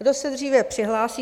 Kdo se dříve přihlásí!